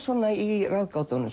í